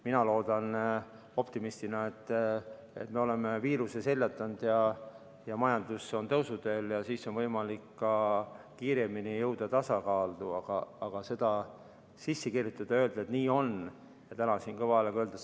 Mina loodan optimistina, et me oleme viiruse seljatanud ja majandus on tõusuteel ja siis on võimalik ka kiiremini jõuda tasakaalu, aga seda sisse kirjutada ja täna siin kõva häälega öelda, et nii on, ei saa.